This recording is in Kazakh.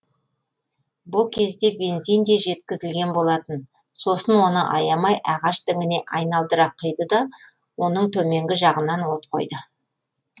бұ кезде бензин де жеткізілген болатын сосын оны аямай ағаш діңіне айналдыра құйды да оның төменгі жағынан от қойды